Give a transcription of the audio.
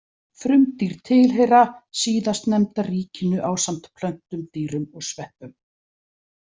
Frumdýr tilheyra síðastnefnda ríkinu ásamt plöntum, dýrum og sveppum.